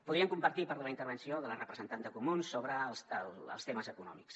podríem compartir part de la intervenció de la representant dels comuns sobre els temes econòmics